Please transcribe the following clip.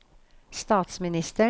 statsministeren